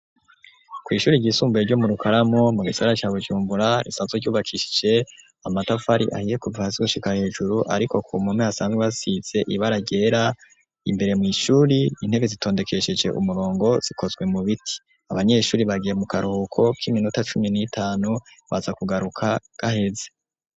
Ku ishuri ry'isumbuye ryo mu rukaramu mu gisagara ca Bujumbura risanzwe ryubakishije amatafari ahiye kuva hasi gushika hejuru ariko ku mpome asanzwe hasize ibara ryera imbere mw'ishuri intebe zitondekesheje umurongo zikozwe mu biti abanyeshuri bagiye mu karuhuko k'iminota cumi n'itanu baza kugaruka gaheze.